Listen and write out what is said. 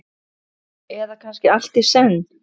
Eða kannski allt í senn?